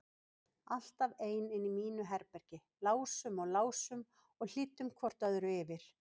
Alltaf ein inni í mínu herbergi, lásum og lásum og hlýddum hvort öðru yfir.